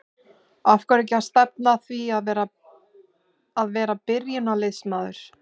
Af hverju ekki að stefna að því að vera byrjunarliðsmaður?